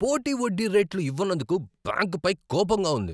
పోటీ వడ్డీ రేట్లు ఇవ్వనందుకు బ్యాంకుపై కోపంగా ఉంది.